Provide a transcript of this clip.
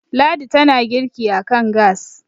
ladi tana girki a kan gas